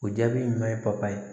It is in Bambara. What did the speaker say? O jaabi ɲuman ye papaye ye